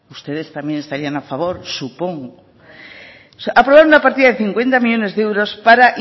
ustedes también estarían a favor supongo aprobaron una partida de cincuenta millónes de euros para